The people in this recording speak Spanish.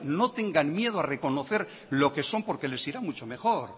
no tengan miedo a reconocer lo que son porque les irá mucho mejor